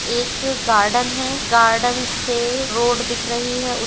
एक गार्डन है गार्डन से रोड दिख रही है उस--